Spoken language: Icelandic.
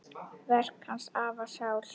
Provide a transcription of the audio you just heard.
Verk hans hafa sál.